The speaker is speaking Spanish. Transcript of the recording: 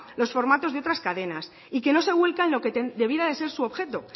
los formatos de otras cadenas y que no se vuelca en lo que debiera ser su objeto